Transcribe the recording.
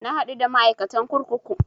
Na haɗu da ma'aikatan kurkuku